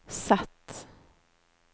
Z